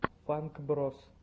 фанк броз